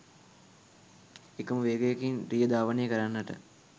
එකම වේගයකින් රිය ධාවනය කරන්නට